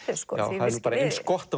það er eins gott